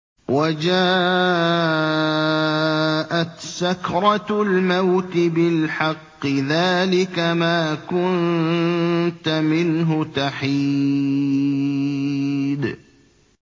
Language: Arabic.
وَجَاءَتْ سَكْرَةُ الْمَوْتِ بِالْحَقِّ ۖ ذَٰلِكَ مَا كُنتَ مِنْهُ تَحِيدُ